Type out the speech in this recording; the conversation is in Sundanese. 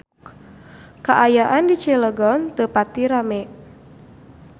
Kaayaan di Cilegon teu pati rame